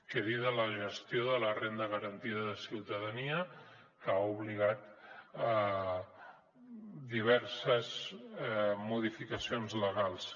què dir de la gestió de la renda garantida de ciutadania que ha obligat a diverses modificacions legals